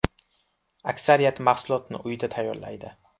Aksariyati mahsulotni uyida tayyorlaydi.